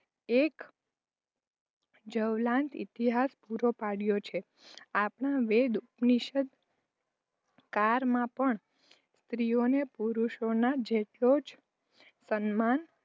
એક જવલંત ઇતિહાસ પૂરો પાડ્યો છે. આપણા વેદ-ઉપનિષદ કાળમાં પણ સ્ત્રીને પુરુષોના જેટલો જ સમાન